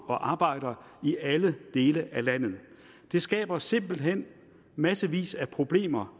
og arbejder i alle dele af landet det skaber simpelt hen massevis af problemer